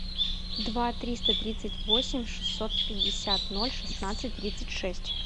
два триста тридцать восемь шестьсот пятьдесят ноль шестнадцать тридцать шесть